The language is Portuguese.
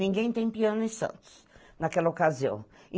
Ninguém tem piano em Santos, naquela ocasião.